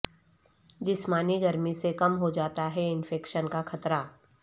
جسمانی سرگرمی سے کم ہو جاتا ہے انفیکشن کا خطرہ